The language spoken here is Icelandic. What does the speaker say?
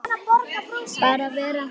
Bara vera.